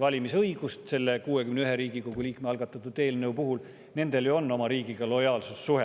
valimisõigust selle 61 Riigikogu liikme algatatud eelnõu kohaselt, on ju oma riigiga lojaalsussuhe.